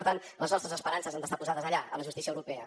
per tant les nostres esperances han d’estar posades allà a la justícia europea